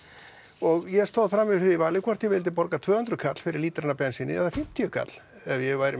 og ég stóð frammi fyrir því vali hvort ég vildi borga tvö hundruð kall fyrir lítrann af bensíni eða fimmtíu kall ef ég væri